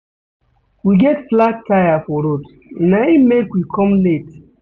We get flat tire for road na im make we come late.